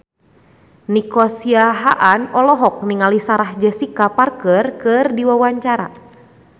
Nico Siahaan olohok ningali Sarah Jessica Parker keur diwawancara